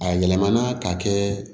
A yɛlɛmana k'a kɛ